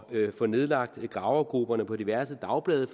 få nedlagt gravergrupperne på diverse dagblade